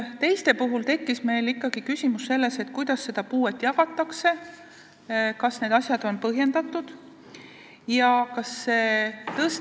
Teiste puhul tekkis meil ikkagi küsimus, kuidas puuet määratakse, kas need asjad on põhjendatud ja kas toetuse ...